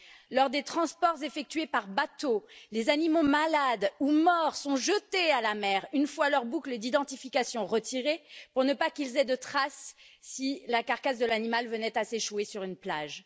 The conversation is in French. Lors des transports effectués par bateau, les animaux malades ou morts sont jetés à la mer une fois leurs boucles d'identification retirées, pour qu'il n'y ait pas de traces si la carcasse de l'animal venait à s'échouer sur une plage.